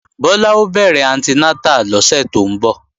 Bọ́lá ó bẹ̀rẹ̀ anti nátà lọ́sẹ̀ tó ń bọ̀